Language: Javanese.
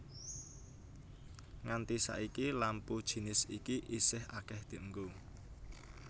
Nganti saiki lampu jinis iki isih akéh dienggo